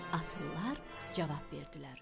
Atlılar cavab verdilər: